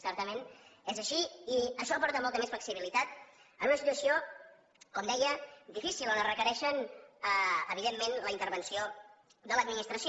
certament és així i això aporta molta més flexibilitat en una situació com deia difícil on es requereix evidentment la intervenció de l’administració